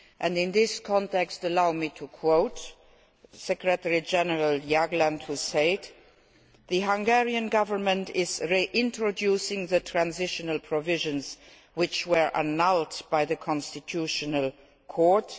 In this context, allow me to quote Secretary General Jagland, who said that the Hungarian Government is reintroducing the Transitional Provisions which were annulled by the Constitutional Court.